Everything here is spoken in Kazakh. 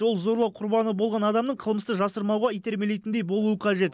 ол зорлау құрбаны болған адамның қылмысты жасырмауға итермелейтіндей болуы қажет